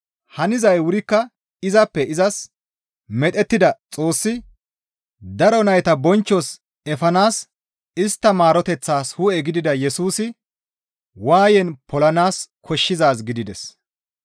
Hanizay wurikka izappe izas medhettida Xoossi daro nayta bonchchos efanaas istta maaroteththas hu7e gidida Yesusi waayen polanaas koshshizaaz gidides.